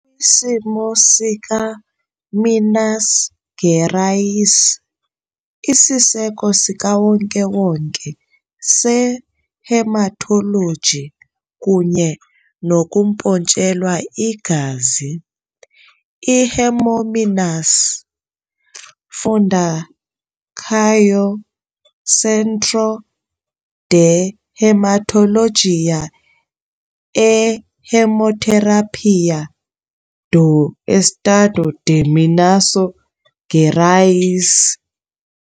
kwisimo sikaMinas Gerais 'isiseko sikawonkewonke se-hematology kunye nokumpontshelwa igazi, i-Hemominas, "Fundação Centro de Hematologia e Hemoterapia do Estado de Minas Gerais".